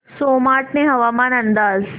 सोमाटणे हवामान अंदाज